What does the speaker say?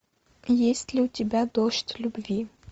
есть ли у тебя дождь любви